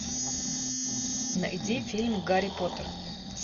найди фильм гарри поттер